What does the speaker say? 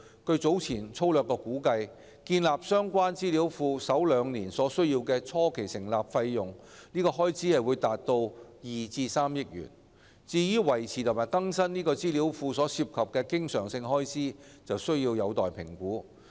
據早前粗略估計，建立相關資料庫首兩年所需的初期成立開支達2億元至3億元；至於維持和更新該資料庫所涉的經常性開支，則有待評估。